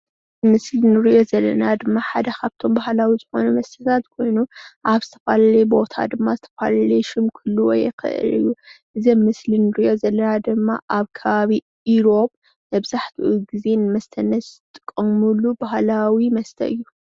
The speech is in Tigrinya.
ምስሊ እንሪኦ ዘለና ድማ ሓደ ካብቶም ባህላዊ ዝኾኑ መስተታት ኮይኑ ኣብ ዝተፈላለየ ቦታ ድማ ዝተፈላለየ ሽም ክህልዎ ይክእል እዩ፡፡ እዚ ኣብ ምስሊ እንሪኦ ዘለና ድማ ኣብ ከባቢ ኢሮብ መብዛሕትኡ ግዜ ንመስተነት ዝጥቀምሉ ባህላዊ መስተ እዩ፡፡